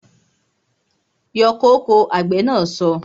Yọ kóko! Àgbè na so